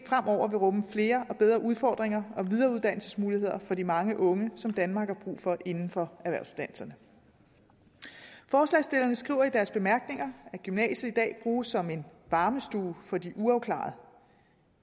rumme flere og bedre udfordringer og videreuddannelsesmuligheder for de mange unge som danmark har brug for inden for erhvervsuddannelserne forslagsstillerne skriver i deres bemærkninger at gymnasiet i dag bruges som en varmestue for de uafklarede